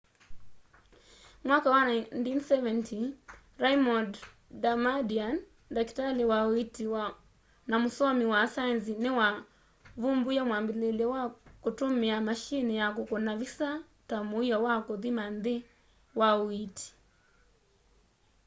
mwaka wa 1970 raymond damadian ndakitali wa uiiti na musomi wa saenzi ni wa vumbuie mwambiliilyo wa kutumie mashini ya kukuna visa ta muio wa kuthima nthini wa uiiti